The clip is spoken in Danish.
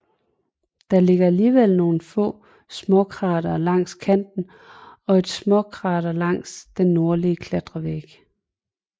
Der ligger alligevel nogle få småkratere langs kanten og et småkrater langs den nordlige kratervæg